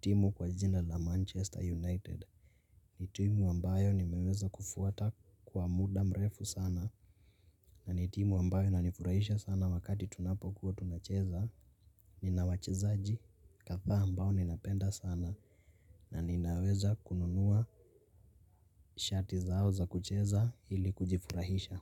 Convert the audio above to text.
timu kwa jina Manchester United ni timu ambayo nimweza kufuata kwa muda mrefu sana na ni timu ambayo inanifurahisha sana wakati tunapokuwa tunacheza ina wachezaji kadhaa ambao ninapenda sana na ninaweza kununua shati zao za kucheza ili kujifurahisha.